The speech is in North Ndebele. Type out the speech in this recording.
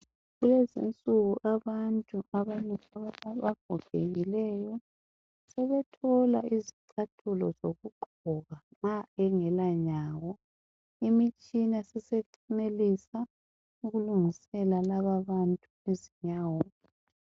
Lezinsuku abantu abalutshwani abagogekileyo sebethole izicathulo nxa engela nyawo imitshina isisenelisa ukulungisela laba abantu izinyawo.